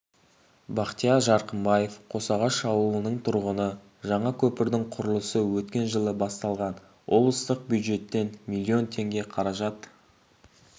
бақтияр жарқынбаев қосағаш ауылының тұрғыны жаңа көпірдің құрылысы өткен жылы басталған облыстық бюджеттен миллион теңге қаражат